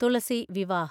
Thulasi Vivah